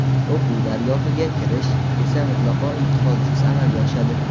O‘quv dargohiga kirish esa mutlaqo imtihonsiz amalga oshadi.